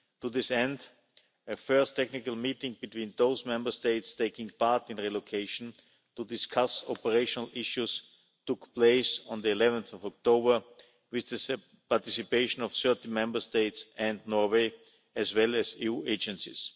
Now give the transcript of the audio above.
To this end, a first technical meeting between those Member States taking part in relocation to discuss operational issues took place on 11 October, with the participation of certain Member States and Norway, as well as EU agencies.